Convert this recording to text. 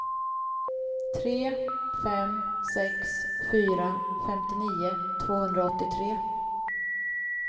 tre fem sex fyra femtionio tvåhundraåttiotre